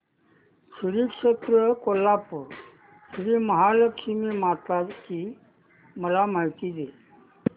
श्री क्षेत्र कोल्हापूर श्रीमहालक्ष्मी माता ची मला माहिती दे